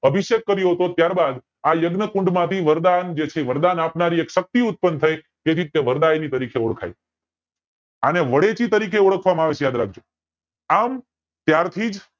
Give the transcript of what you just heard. અભિષેક કર્યો હતો ત્યાર બાદ આ યજ્ઞ કુંડ માંથી વરદાન જે છે વરદાન આપનારી એક શક્તિ ઉત્પન્ન થય તેથી તે વરદાયી તરીકે ઓળખાય આને વદેશી તરીકે ઓળખવામાં આવશે યાદ રાખજો આમ ત્યાર થી જ